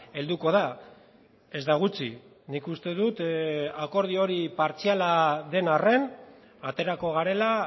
helduko da ez da gutxi nik uste dut akordio hori partziala den arren aterako garela